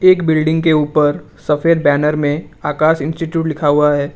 एक बिल्डिंग के ऊपर सफेद बैनर में आकाश इंस्टीट्यूट लिखा हुआ है।